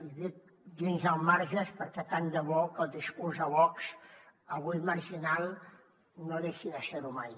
i dic dins els marges perquè tant de bo que el discurs de vox avui marginal no deixi de ser ho mai